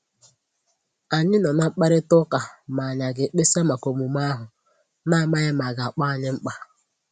Ànyị nọ̀ ná mkpàrịtà ụ́ka ma anyị aga ekpesa maka omume ahu, n'amsghi ma aga akpọ anyi mkpa